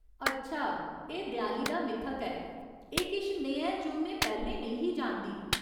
अच्छा, एह् देआली दा मिथक ऐ। एह् किश नेहा ऐ जो में पैह्‌लें नेईं ही जानदी ।